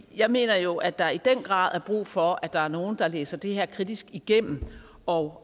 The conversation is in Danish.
jeg mener jo at der i den grad er brug for at der er nogle der læser det her kritisk igennem og